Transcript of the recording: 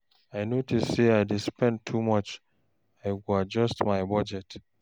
If I notice say I dey spend too much, I go adjust my budget.